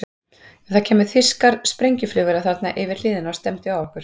Ef það kæmu þýskar sprengjuflugvélar þarna yfir hlíðina og stefndu á okkur?